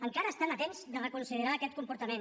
encara estan a temps de reconsiderar aquest comportament